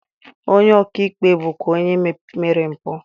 Onye ọka ikpe bụkwa onye mere mpụ